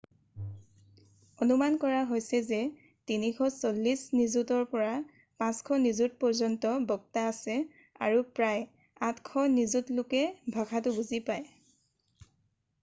অনুমান কৰা হৈছে যে 340 নিযুতৰ পৰা 500 নিযুতপৰ্যন্ত বক্তা আছে আৰু প্ৰায় 800 নিযুত লোকে ভাষাটো বুজি পায়